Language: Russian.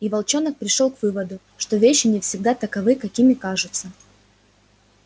и волчонок пришёл к выводу что вещи не всегда таковы какими кажутся